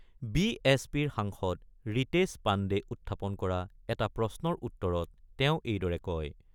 B এচ পিৰ সাংসদ ঋতেশ পাণ্ডে উত্থাপন কৰা এটা প্ৰশ্নৰ উত্তৰত তেওঁ এইদৰে কয়।